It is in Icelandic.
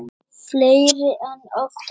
Fleiri en oft áður.